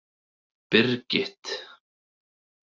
Birgit